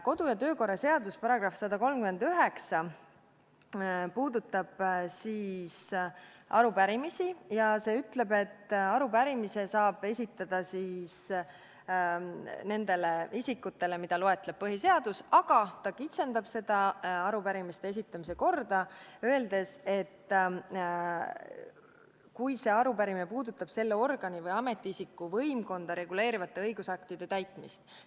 Kodu- ja töökorra seaduse § 139 puudutab arupärimisi ja ütleb, et arupärimise saab esitada nendele isikutele, kes on loetletud põhiseaduses, aga ta kitsendab arupärimiste esitamise korda, öeldes, et arupärimine peab puudutama selle organi või ametiisiku võimkonda reguleerivate õigusaktide täitmist.